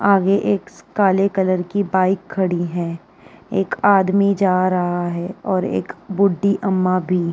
आगे एक काले कलर की बाइक खड़ी है। एक आदमी जा रहा है और एक बुढ़ही अम्मा भी --